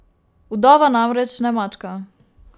Vdova, namreč, ne mačka.